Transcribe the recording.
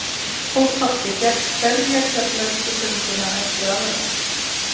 Og pabbi gekk hverja Keflavíkurgönguna eftir aðra.